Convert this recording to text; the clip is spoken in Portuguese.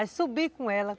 Aí subi com ela.